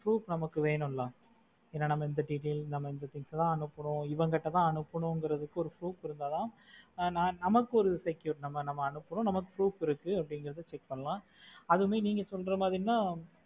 proof நமக்கு வேணும் இல்ல ஏனா நான் இந்த details நம்ம இந்த things தான் அனுப்புறோம் இவங்க கிட்ட தான் அனுப்புறோம் அப்படிங்கறதுக்கு ஒரு proof இருந்தா தான் நாம நமக்கு ஒரு secure நம்ம நம்ம அனுப்புறோம் நமக்கு proof இருக்கு அப்படிங்கறது check பண்ணலாம் அதுவும் நீங்க சொல்ற மாதிரின்னா